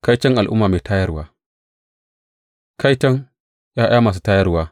Kaiton al’umma mai tayarwa Kaiton ’ya’ya masu tayarwa,